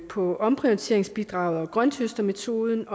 på omprioriteringsbidraget og grønthøstermetoden